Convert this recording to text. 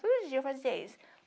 Todos os dias eu fazia isso.